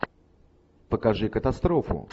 покажи катастрофу